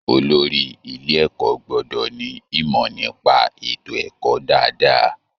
Olórí ilé ẹ̀kọ́ gbọ́dọ̀ ní ìmọ̀ nípa ètò ẹ̀kọ́ dáadáa